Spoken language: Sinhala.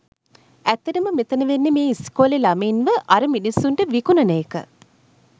ඇත්තටම මෙතන වෙන්නේ මේ ඉස්කෝලේ ළමයින්ව අර මිනිස්සුන්ට විකුණන එක.